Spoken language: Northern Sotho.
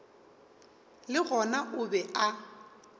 le gona o be a